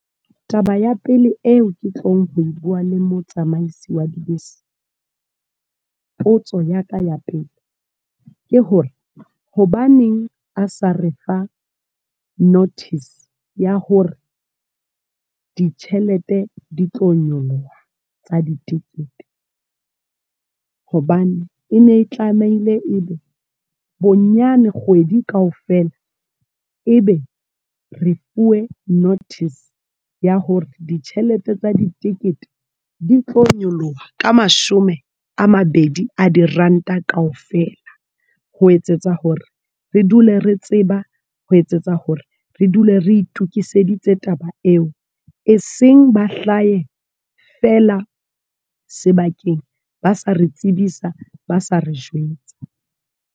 Taba ya pele eo ke tlong ho bua le motsamaise wa dibese. Potso ya ka ya pele ke hore, hobaneng a sa re fa notice, ya hore ditjhelete di tlo nyoloha tsa di-ticket. Hobane, e ne tlameile ebe bonyane kgwedi kaofela, e be re fuwe notice ya hore ditjhelete tsa di-ticket di tlo nyoloha ka mashome a mabedi a di-rand-a kaofela. Ho etsetsa hore re dule re tseba, ho etsetsa hore re dule re itokiseditse taba eo. E seng ba hlahe feela sebakeng ba sa re tsebisa, ba sa re jwetsa.